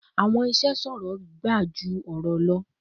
Awọn iṣe sọrọ ga ju awọn ọrọ lọ